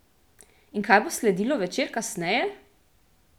In kaj bo sledilo večer kasneje?